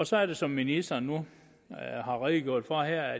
så er det som ministeren nu har redegjort for her at